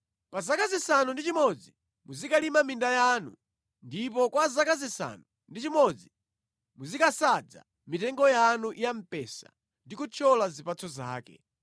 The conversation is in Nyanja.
Pa zaka zisanu ndi chimodzi muzikalima minda yanu, ndipo kwa zaka zisanu ndi chimodzi muzikasadza mitengo yanu ya mpesa ndi kuthyola zipatso zake.